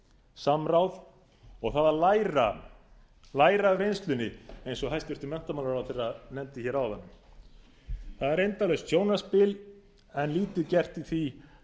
samráð og það að læra af reynslunni eins og hæstvirtur menntamálaráðherra nefndi áðan það er endalaust sjónarspil en lítið gert í því